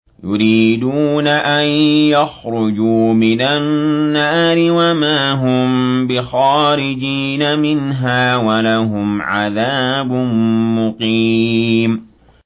يُرِيدُونَ أَن يَخْرُجُوا مِنَ النَّارِ وَمَا هُم بِخَارِجِينَ مِنْهَا ۖ وَلَهُمْ عَذَابٌ مُّقِيمٌ